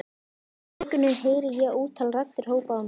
Inni í þokunni heyri ég ótal raddir hrópa á mig.